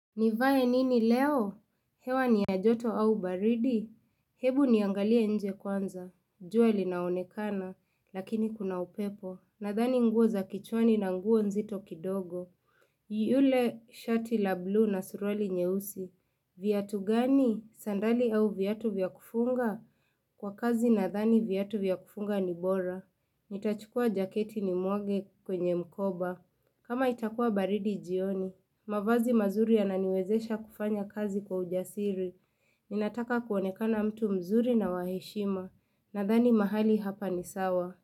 Nivae nini leo? Hewa ni ya joto au baridi? Hebu niangalie nje kwanza. Jua li naonekana, lakini kuna upepo. Nadhani nguo za kichwani na nguo nzito kidogo. Yule shati la blue na suruali nyeusi. Viatu gani? Sandali au viatu vya kufunga? Kwa kazi nadhani viatu vya kufunga ni bora. Nitachukua jaketi ni muage kwenye mkoba. Kama itakuwa baridi jioni, mavazi mazuri ya naniwezesha kufanya kazi kwa ujasiri. Ninataka kuonekana mtu mzuri na waheshima, nadhani mahali hapa ni sawa.